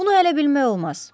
Bunu hələ bilmək olmaz.